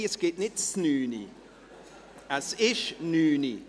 Nein, es gibt kein «Znüni», es ist «nüni».